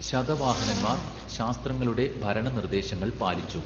ശതവാഹനന്മാർ ശാസ്ത്രങ്ങളുടെ ഭരണനിർദ്ദേശങ്ങൾ പാലിച്ചു.